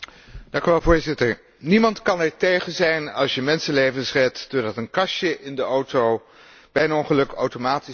Niemand kan ertegen zijn als je mensenlevens redt doordat een kastje in de auto bij een ongeluk automatisch contact opneemt met